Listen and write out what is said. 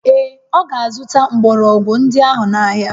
Ee, ọ ga-azụta mgbọrọgwụ ndị ahụ n'ahịa